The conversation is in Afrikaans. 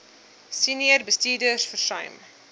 senior bestuurders versuim